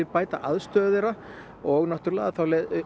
bæta aðstöðu þeirra og